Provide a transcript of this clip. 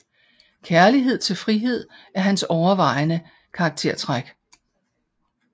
Kærlighed til frihed er hans overvejende karaktertræk